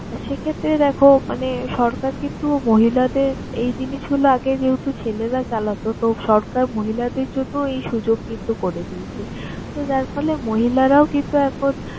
সেক্ষেত্রে দেখো মানে সরকার কিন্তু মহিলাদের এই জিনিসগুলো আগে যেহেতু ছেলেরা চালাত, তো সরকার মহিলাদের জন্য এই সুযোগ কিন্তু করে দিয়েছে। তো, যার ফলে মহিলারাও কিন্তু এখন